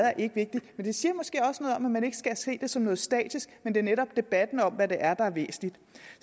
er vigtigt det siger måske også noget om at man ikke skal se det som noget statisk men at det netop er debatten om hvad der er med der er væsentlig